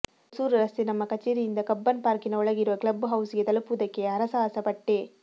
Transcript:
ಹೊಸೂರು ರಸ್ತೆಯ ನಮ್ಮ ಕಚೇರಿಯಿಂದ ಕಬ್ಬನ್ ಪಾರ್ಕಿನ ಒಳಗಿರುವ ಕ್ಲಬ್ ಹೌಸ್ ಗೆ ತಲಪುವುದಕ್ಕೆ ಹರಸಾಹಸ ಪಟ್ಟೆ